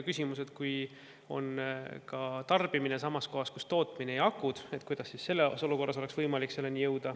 Näiteks, kui tarbimine on samas kohas kus tootmine ja akud, siis kuidas selles olukorras.